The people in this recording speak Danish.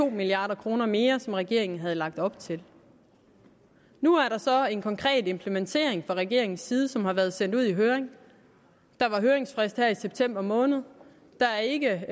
to milliard kroner mere som regeringen havde lagt op til nu er der så en konkret implementering fra regeringens side som har været sendt ud i høring der var høringsfrist her i september måned der er ikke